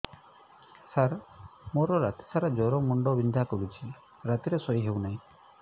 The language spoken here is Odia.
ସାର ମୋର ରାତି ସାରା ଜ୍ଵର ମୁଣ୍ଡ ବିନ୍ଧା କରୁଛି ରାତିରେ ଶୋଇ ହେଉ ନାହିଁ